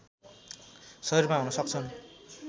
शरीरमा हुन सक्छन्